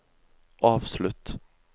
avslutt